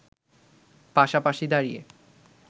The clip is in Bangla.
পাশাপাশি দাঁড়িয়ে